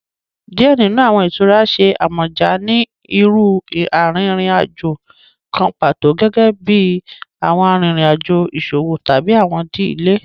Diẹ ninu awọn itura ṣe amọja ni iru arinrin-ajo kan pato, gẹgẹbi awọn arinrin-ajo iṣowo tabi awọn idile.